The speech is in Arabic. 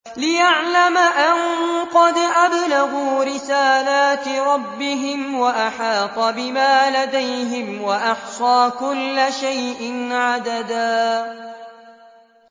لِّيَعْلَمَ أَن قَدْ أَبْلَغُوا رِسَالَاتِ رَبِّهِمْ وَأَحَاطَ بِمَا لَدَيْهِمْ وَأَحْصَىٰ كُلَّ شَيْءٍ عَدَدًا